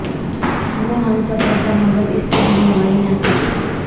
وہ ہم سفر تھا مگر اس سے ہم نوائی نہ تھی